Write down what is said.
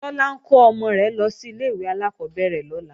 Tọ́lá ń kó ọmọ rẹ̀ lọ sí ilé-ìwé alákọ́bẹ̀rẹ̀ lọ́la